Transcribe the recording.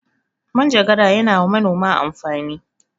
Manjagara ya na wa manoma amfani